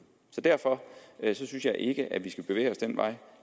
så derfor synes jeg ikke at vi skal bevæge os den vej